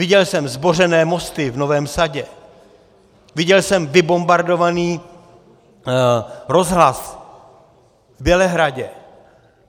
Viděl jsem zbořené mosty v Novém Sadě, viděl jsem vybombardovaný rozhlas v Bělehradě.